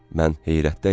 Mən heyrətdə idim.